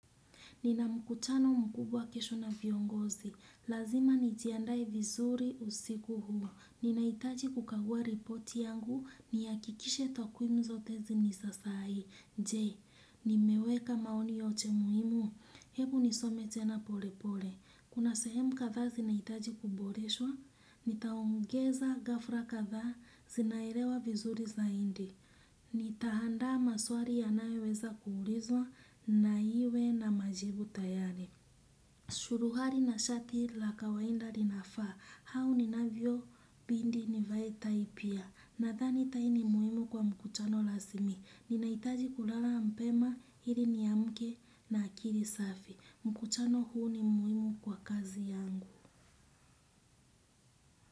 Nina mkutano mkubwa kesho na viongozi. Lazima nijiandae vizuri usiku huu ninahitaji kukagua ripoti yangu nihakikishe takwimu zote ni za sahihi ee, nimeweka maoni yote muhimu. Hebu nisome tena pole pole. Kuna sehemu kadhaa zina hitaji kuboreshwa. Nitaongeza ghafla kadhaa zinaelewa vizuri zaidi. Ni taandaa maswali yanayo weza kuulizwa na iwe na majibu tayari. Suruali na shati la kawaida linafaa. Au ni navyo bidi ni vae tai pia. Nadhani tai ni muhimu kwa mkutano rasmi. Ninahitaji kulala mapema ili ni amke na akili safi. Mkuchano huu ni muimu kwa kazi yangu.